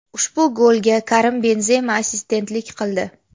Ushbu golga Karim Benzema assistentlik qildi.